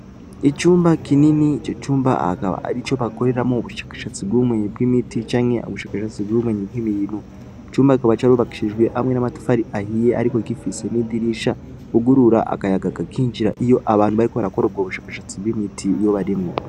Icumba kinini ico cumba hakaba ari co bakoreramo bushakashatsi bw'ubumenyi bw'imiti canke ubushakashatsi bw'ubumenye bw'iminu cumba akaba carobakshijwe hamwe n'amatufari ahiye, ariko igifise n'idirisha ugurura agayaga gakinjira iyo abantu bariko barakororwa ubushakashatsi bw'imiti yo barimwo.